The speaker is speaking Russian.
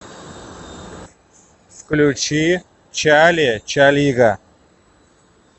включи чали чалига